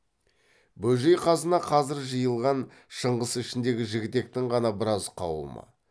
бөжей қасына қазір жиылған шыңғыс ішіндегі жігітектің ғана біраз қауымы